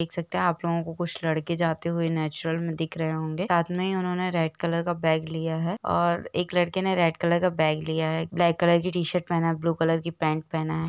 देख सखते है आप लोगो को कुछ लड़के हुए नेचुरल मे दिख रहे होंगे साथ मे उन्होंने रेड कलर का बैग लिया है और ब्लैक कलर की टी-शर्ट पहना है ब्लू कलर की पेंट पहना है।